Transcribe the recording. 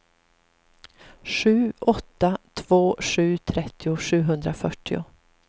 sju åtta två sju trettio sjuhundrafyrtio